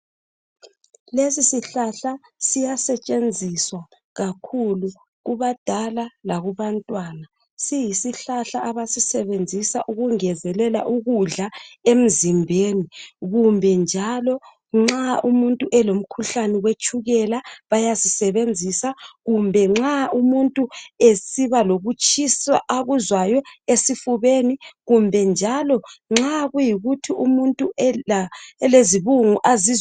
Lesisihlahla siyasentshenziswa kakhulu kubadala lakubantwana siyisihlahla abasisebenzisa ukungezelela ukudla emzimbeni kumbe njalo nxa umuntu elomkhuhlane wetshukela Bayasisebenzisa kumbe nxa umuntu esiba lo ukutshisa akuzwayo esifubeni kumbe njalo nxa kuyikuthi umuntu elezi bungu azizwa